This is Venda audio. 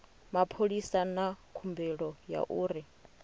mapholisa na khumbelo ya uri